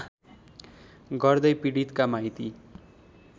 गर्दै पीडितका माइती